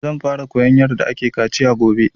Zan fara koyan yarda ake kaciya gobe